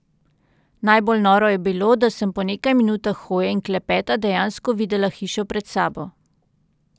Najbolj noro je bilo, da sem po nekaj minutah hoje in klepeta dejansko videla hišo pred sabo.